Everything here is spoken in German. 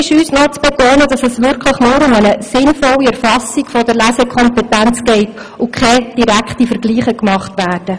Wichtig ist uns zu betonen, dass es wirklich nur um eine sinnvolle Erfassung der Lesekompetenz geht und keine direkten Vergleiche gemacht werden.